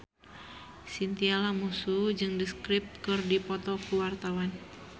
Chintya Lamusu jeung The Script keur dipoto ku wartawan